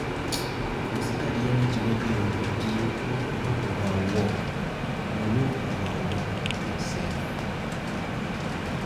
Consider di energy wey dey your body make you no overwork you no overwork yourself